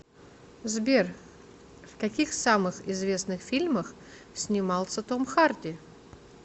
сбер в каких самых известных фильмах снимался том харди